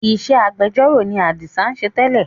Ìṣe agbẹjọ́ró ni adisa ń ṣe tẹ́lẹ̀